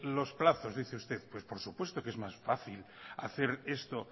los plazos dice usted pues por supuesto que es más fácil hacer esto